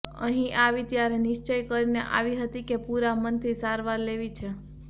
અહીં આવી ત્યારે નિશ્ચય કરીને આવી હતી કે પૂરા મનથી સારવાર લેવી છે